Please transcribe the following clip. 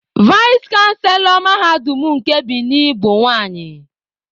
Vais chanselọ mahadum nke Bini bụ nwanyị.